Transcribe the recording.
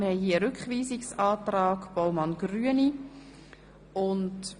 Es liegt ein Rückweisungsantrag Baumann Grüne vor.